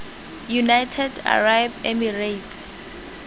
united arab emirates